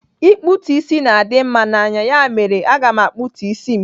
Ikputu isi gị na-adị mma n'anya, ya mere, aga m akputu isi m